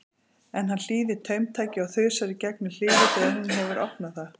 En hann hlýðir taumtaki og þusar í gegnum hliðið þegar hún hefur opnað það.